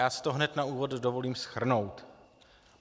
Já si to hned na úvod dovolím shrnout.